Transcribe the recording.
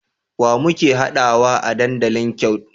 Wa muke haduwa a dandalin ƙauye?